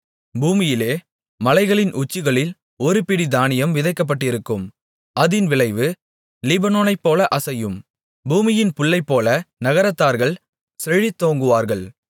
பூமியிலே மலைகளின் உச்சிகளில் ஒரு பிடி தானியம் விதைக்கப்பட்டிருக்கும் அதின் விளைவு லீபனோனைப்போல அசையும் பூமியின் புல்லைப்போல நகரத்தார்கள் செழித்தோங்குவார்கள்